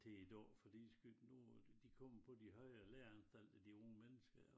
Til i dag fordi sket nogen af dem de kommer på de højere læreanstalter de unge mennesker ja